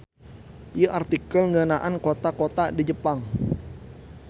Ieu artikel ngeunaan kota-kota di Jepang.